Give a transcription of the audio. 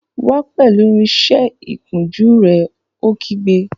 Wá pẹ̀lú irinsẹ́ ìkunjú rẹ̀! Ó kígbe